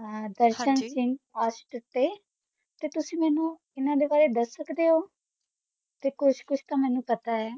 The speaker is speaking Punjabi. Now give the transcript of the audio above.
ਹਾਂਜੀ ਦਰਸ਼ਨ ਸਿੰਘ ਆਸ਼ਿਕ਼ ਊਟੀ ਤੇ ਤੁਸੀਂ ਮੇਨੂੰ ਇਨਾਂ ਦੇ ਬਾਰੇ ਦਸ ਸਕਦੇ ਊ ਤੇ ਕੁਛ ਕੁਛ ਤਾਂ ਮੇਨੂ ਪਤਾ ਆਯ